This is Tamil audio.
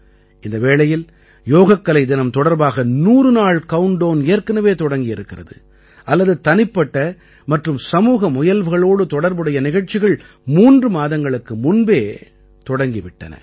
இந்த வேளையில் யோகக்கலை தினம் தொடர்பாக 100 நாள் கவுண்ட் டவுன் ஏற்கனவே தொடங்கி இருக்கிறது அல்லது தனிப்பட்ட மற்றும் சமூக முயல்வுகளோடு தொடர்புடைய நிகழ்ச்சிகள் 3 மாதங்களுக்கு முன்பே தொடங்கி விட்டன